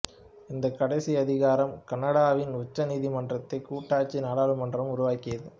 இந்த கடைசி அதிகாரம் கனடாவின் உச்ச நீதிமன்றத்தை கூட்டாட்சி நாடாளுமன்றம் உருவாக்கியது